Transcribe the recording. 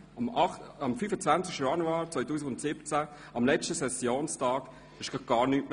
Am 5. Januar 2017, am letzten Sessionstag der Januarsession, ging plötzlich nichts mehr;